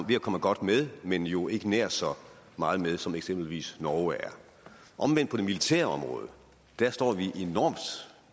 ved at komme godt med men er jo ikke nær så meget med som eksempelvis norge er omvendt på det militære område står vi